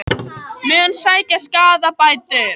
Mun sækja skaðabætur